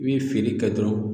I be feere kɛ dɔrɔn